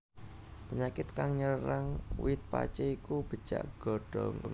Penyakit kang nyerang wit pacé iku becak godhong